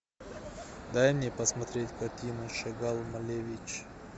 дай мне посмотреть картину шагал малевич